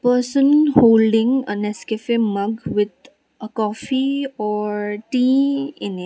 person holding a nescafe mug with a coffee or tea in a --